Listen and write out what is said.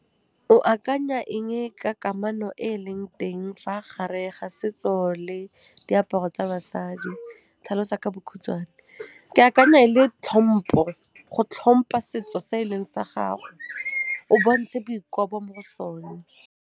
O akanya eng-e ka kamano e e leng teng fa gare ga setso le diaparo tsa basadi, tlhalosa ka bokhutswane. Ke akanya e le tlhompo, go tlhompa setso se eleng sa gago, o bontshe boikobo mo go sone.